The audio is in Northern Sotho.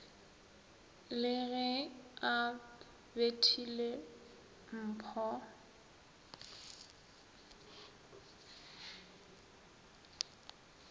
le ge a bethile mpho